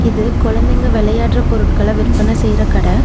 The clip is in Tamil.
இது கொழந்தங்க வெளயாட்ற பொருட்கள விற்பன செய்ற கட.